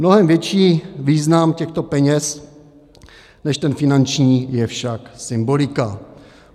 Mnohem větší význam těchto peněz než ten finanční je však symbolika.